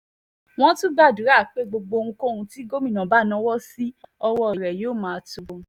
wọ́n tún gbàdúrà pé gbogbo ohunkóhun tí gómìnà bá náwó sí ọwọ́ rẹ yóò máa tó o